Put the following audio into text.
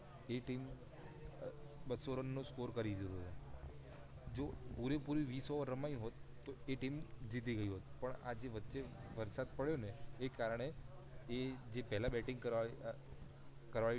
જે ટીમ બસો રન નો score રહીયુ હે જો પુરે પુરે વિશ over રમાઈ હોત તો એ ટીમ જીતી ગઇ હોત પણ આ વચ્ચે વરસાદ પડ્યો ને એ કારણે જે પહેલા બેટીંગ કરવી આ